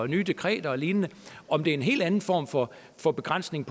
nye dekreter og lignende og det er en helt anden form for for begrænsning